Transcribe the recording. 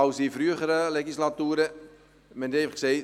In früheren Legislaturen war dies anders: